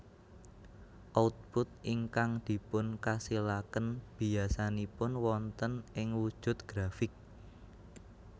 Output ingkang dipun kasilaken biyasanipun wonten ing wujud grafik